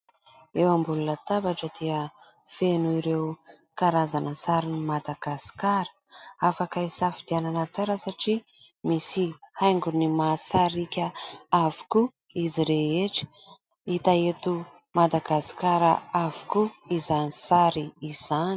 Eo ambony latabatra dia feno ireo karazana sarin'ny Madagasikara. Afaka hisafidianana tsara satria misy haingony mahasarika avokoa izy rehetra. Ita eto Madagasikara avokoa izany sary izany.